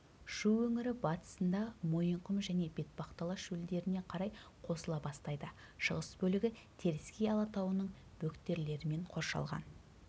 шу өңірі батысында мойынқұм және бетпақдала шөлдеріне қарай қосыла бастайды шығыс бөлігі теріскей алатауының бөктерлерімен қоршалған